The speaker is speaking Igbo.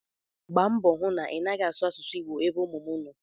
Gbaa mbọ hụ na ị naghị asụ asụsụ Igbo ebe ụmụ m nọ!